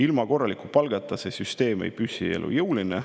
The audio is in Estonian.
Ilma korraliku palgata ei püsi see süsteem elujõulisena.